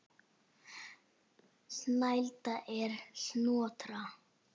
Snælda er Snotra